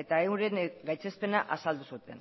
eta euren gaitzespena azaldu zuten